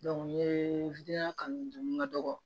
kanu dun ka dɔgɔ